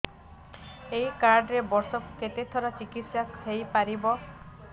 ଏଇ କାର୍ଡ ରେ ବର୍ଷକୁ କେତେ ଥର ଚିକିତ୍ସା ହେଇପାରିବ